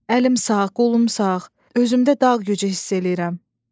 Əlim sağ, qolum sağ, özümdə dağ gücü hiss eləyirəm.